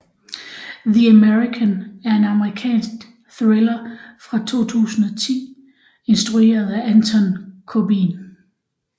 The American er en amerikansk thriller fra 2010 instrueret af Anton Corbijn